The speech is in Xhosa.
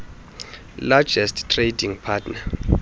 largest trading partner